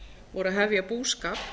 voru að hefja búskap